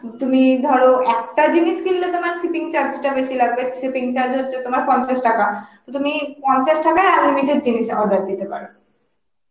তুমি ধর একটা জিনিস কিনলে তোমার shipping charge টা বেশি লাগবে, shipping charge টা হচ্ছে তোমার পঞ্চাশ টাকা, তো তুমি পঞ্চাশ টাকায় unlimited জিনিস order দিতে পারো